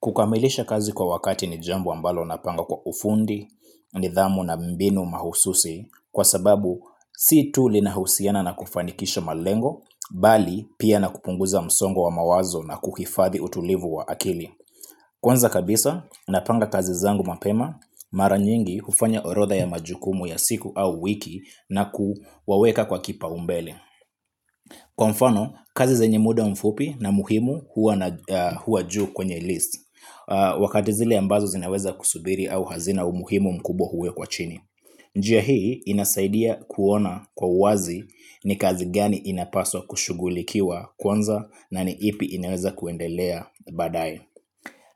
Kukamilisha kazi kwa wakati ni jambo ambalo napanga kwa ufundi, nidhamu na mbinu mahususi kwa sababu si tu linahusiana na kufanikisha malengo, bali pia na kupunguza msongo wa mawazo na kuhifadhi utulivu wa akili. Kwanza kabisa, napanga kazi zangu mapema, mara nyingi hufanya orodha ya majukumu ya siku au wiki na kuwaweka kwa kipaumbele. Kwa mfano, kazi zenye muda mfupi na muhimu huwa juu kwenye list wakati zile ambazo zinaweza kusubiri au hazina umuhimu mkubwa huwekwa chini njia hii inasaidia kuona kwa uwazi ni kazi gani inapaswa kushughulikiwa kwanza na ni ipi inaweza kuendelea baadaye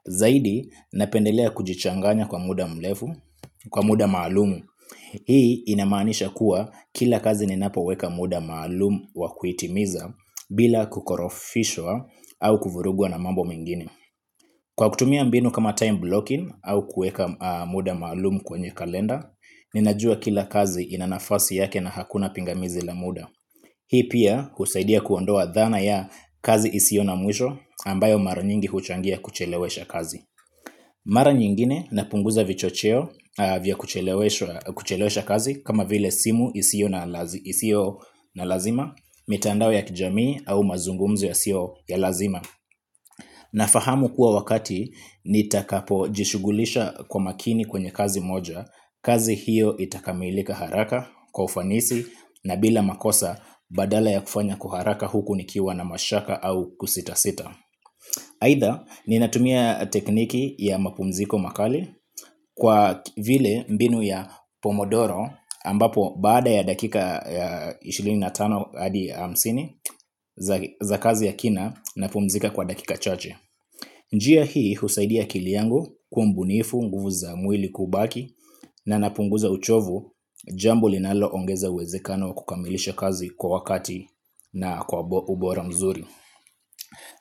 zaidi napendelea kujichanganya kwa muda mrefu kwa muda maalum hii inamaanisha kuwa kila kazi ninapoweka muda maalum wa kuhitimiza bila kukorofishwa au kufurugwa na mambo mengine kwa kutumia mbinu kama time blocking au kuweka muda maalum kwenye kalenda, ninajua kila kazi ina nafasi yake na hakuna pingamizi la muda hii pia husaidia kuondoa dhana ya kazi isiyo na mwisho ambayo mara nyingi huchangia kuchelewesha kazi mara nyingine napunguza vichocheo vya kuchelewesha kazi kama vile simu isiyo na lazima, mitandao ya kijamii au mazungumzo yasiyo ya lazima. Nafahamu kuwa wakati nitakapo jishughulisha kwa makini kwenye kazi moja, kazi hiyo itakamilika haraka kwa ufanisi na bila makosa badala ya kufanya kwa haraka huku nikiwa na mashaka au kusita sita. Aidha ninatumia tekniki ya mapumziko makali kwa vile mbinu ya pomodoro ambapo baada ya dakika ishirini na tano hadi hamsini za kazi ya kina napumzika kwa dakika chache. Njia hii husaidia akili yangu kuwa mbunifu nguvu za mwili kubaki na napunguza uchovu jambo linaloongeza uwezekano wa kukamilisha kazi kwa wakati na kwa ubora mzuri.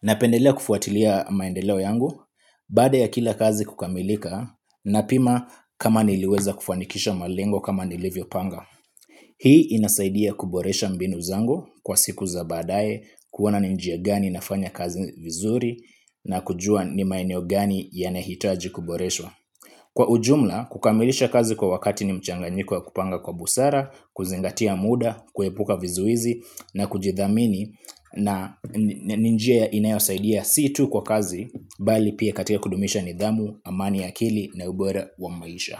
Napendelea kufuatilia maendeleo yangu baada ya kila kazi kukamilika napima kama niliweza kufanikisha malengo kama nilivyopanga. Hii inasaidia kuboresha mbinu zangu kwa siku za baadaye kuona ni njia gani nafanya kazi vizuri na kujua ni maeneo gani yanahitaji kuboreshwa. Kwa ujumla, kukamilisha kazi kwa wakati ni mchanganyiko ya kupanga kwa busara, kuzingatia muda, kuepuka vizuizi na kujithamini na ni njia inayosaidia si tu kwa kazi, bali pia katika kudumisha nidhamu, amani ya akili na ubora wa maisha.